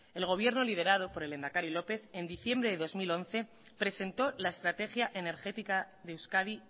el gobierno liderado por el lehendakari lópez en diciembre de dos mil once presentó la estrategia energética de euskadi